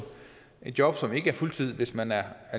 job som ikke er på fuldtid hvis man er